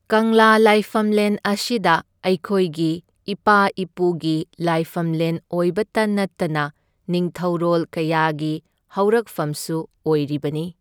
ꯀꯪꯂꯥ ꯂꯥꯏꯐꯝꯂꯦꯟ ꯑꯁꯤꯗ ꯑꯩꯈꯣꯏꯒꯤ ꯏꯄꯥ ꯏꯄꯨꯒꯤ ꯂꯥꯏꯐꯝꯂꯦꯟ ꯑꯣꯏꯕꯇ ꯅꯠꯇꯅ ꯅꯤꯡꯊꯧꯔꯣꯜ ꯀꯌꯥꯒꯤ ꯍꯧꯔꯛꯐꯝꯁꯨ ꯑꯣꯏꯔꯤꯕꯅꯤ꯫